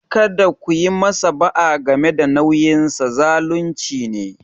Kada ku yi masa ba'a game da nauyinsa - zalunci ne.